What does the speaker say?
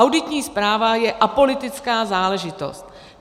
Auditní zpráva je apolitická záležitost.